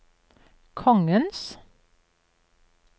kongens